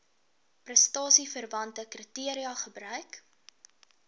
prestasieverwante kriteria gebruik